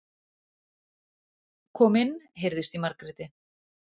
Kom inn, heyrðist í Margréti.